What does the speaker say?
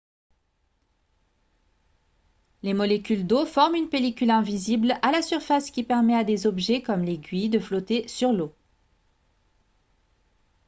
les molécules d'eau forment une pellicule invisible à la surface qui permet à des objets comme l'aiguille de flotter sur l'eau